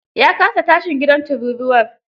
Ya kasa tashin gidan turuwar.